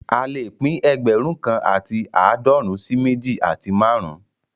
A lè pín ẹgbẹ̀rún kan àti aadọrun sí méjì àti márùn-ún